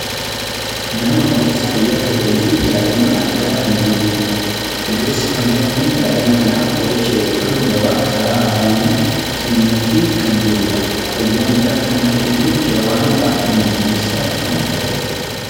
Nama ogeessa fayyaa ta'eefi daa'ima argaa kan jirrudha. Ogeessi fayyaa kun daa'ima kanaaf qoricha yookaan daawwaa karaa afaanii kennaafi kan jirudha. Fayyaa mucaa kanaa eeguuf daawwaan baayyee murteessaa kan ta'edha.